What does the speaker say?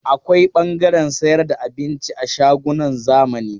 Akwai ɓangaren sayar da abinci a shagunan zamani.